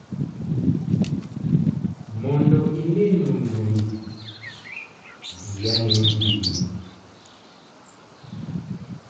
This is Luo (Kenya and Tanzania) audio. Mondo ine nonro ni, diane mbui no.